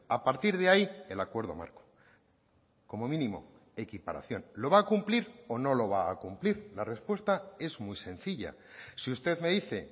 a partir de ahí el acuerdo marco como mínimo equiparación lo va a cumplir o no lo va a cumplir la respuesta es muy sencilla si usted me dice